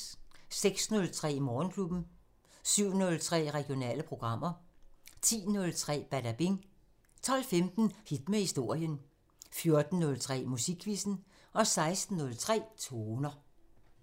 06:03: Morgenklubben 07:03: Regionale programmer 10:03: Badabing 12:15: Hit med historien 14:03: Musikquizzen 16:03: Toner